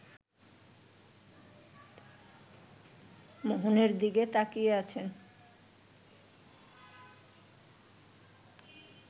মোহনের দিকে তাকিয়ে আছেন